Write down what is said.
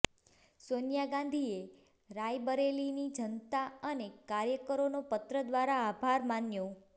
સોનિયા ગાંધીએ રાયબરેલીની જનતા અને કાર્યકરોનો પત્ર દ્વારા આભાર માન્યો